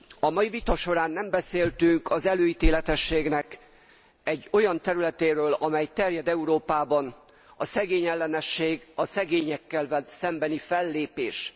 A mai vita során nem beszéltünk az előítéletességnek egy olyan területéről, amely terjed Európában a szegényellenesség, a szegényekkel szembeni fellépés.